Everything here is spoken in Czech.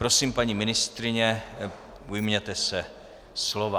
Prosím, paní ministryně, ujměte se slova.